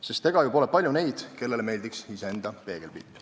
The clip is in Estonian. Sest ega ole ju palju neid, kellele meeldiks iseenda peegelpilt.